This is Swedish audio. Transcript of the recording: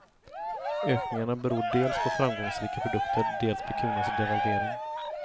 Ökningarna beror dels på framgångsrika produkter, dels på kronans devalvering.